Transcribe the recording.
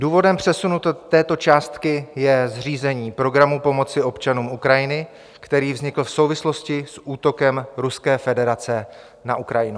Důvodem přesunu této částky je zřízení programu pomoci občanům Ukrajiny, který vznikl v souvislosti s útokem Ruské federace na Ukrajinu.